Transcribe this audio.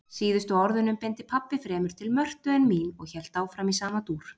Síðustu orðunum beindi pabbi fremur til Mörtu en mín og hélt áfram í sama dúr